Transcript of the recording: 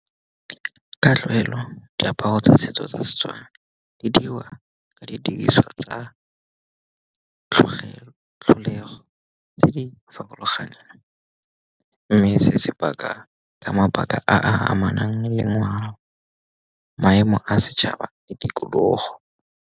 Ka tlwaelo diaparo tsa setso tsa S, etswana di dirwa ka didiriswa tsa tlholego tse di farologaneng, mme se se paka ka mabaka a a amanang le ngwao, maemo a setšhaba le tikologo.